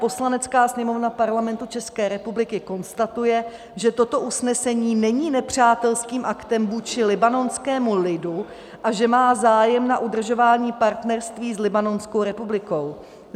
Poslanecká sněmovna Parlamentu České republiky konstatuje, že toto usnesení není nepřátelským aktem vůči libanonskému lidu a že má zájem na udržování partnerství s Libanonskou republikou.